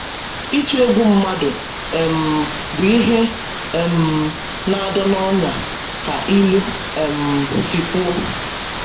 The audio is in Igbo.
“Ịtụ egwu mmadụ um bụ ihe um na-adọ n’ọnyà,” ka ilu um si kwuo.